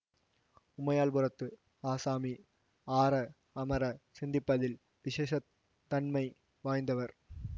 உமையாள்புரத்து ஆசாமி ஆற அமர சிந்திப்பதில் விசேஷத் தன்மை வாய்ந்தவர்